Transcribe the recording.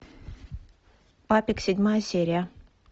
папик седьмая серия